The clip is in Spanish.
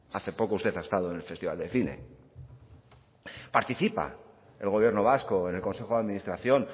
hace poco usted ha estado en el festival del cine participa el gobierno vasco en el consejo de administración